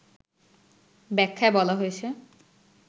ব্যাখ্যায় বলা হয়েছে